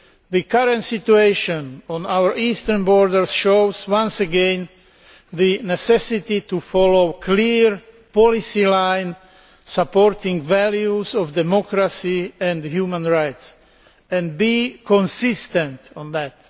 the current situation on our eastern borders shows once again the necessity of following a clear policy line supporting values of democracy and human rights, and being consistent on that.